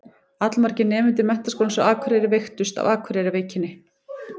Allmargir nemendur Menntaskólans á Akureyri veiktust af Akureyrarveikinni.